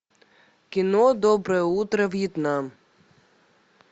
кино доброе утро вьетнам